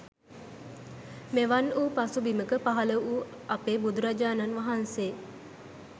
මෙවන් වූ පසුබිමක පහළ වූ අපේ බුදුරජාණන් වහන්සේ